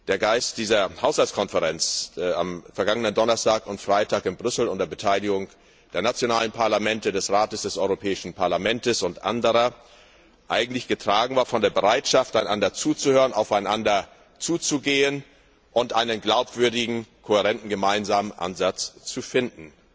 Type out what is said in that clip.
der Geist der Haushaltskonferenz am vergangenen Donnerstag und Freitag in Brüssel, unter Beteiligung der nationalen Parlamente, des Rates, des Europäischen Parlaments und anderer, eigentlich getragen war von der Bereitschaft, einander zuzuhören, aufeinander zuzugehen und einen glaubwürdigen kohärenten gemeinsamen Ansatz zu finden.